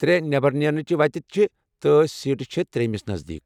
ترٛےٚ نٮ۪بر نیرنٕچ وتہٕ چھِ، تہٕ سیٹہٕ چھےٚ ترٛیمِس نزدیٖک۔